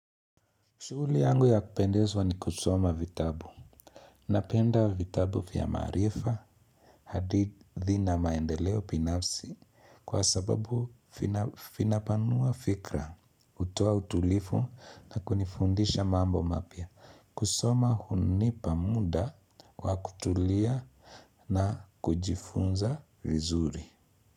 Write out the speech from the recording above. Shughuli yangu ya kupendezwa ni kusoma vitabu. Napenda vitabu vya maarifa, hadithi na maendeleo binafsi kwa sababu vinapanua fikra, hutuo utulivu na kunifundisha mambo mapya. Kusoma hunipa muda wa kutulia na kujifunza vizuri.